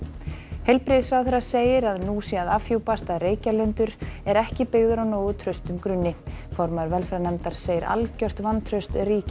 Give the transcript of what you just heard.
heilbrigðisráðherra segir að nú sé að afhjúpast að Reykjalundur er ekki byggður á nógu traustum grunni formaður velferðarnefndar segir algjört vantraust ríkja